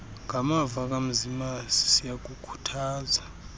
ngamava kamzimasi siyakukhuthaza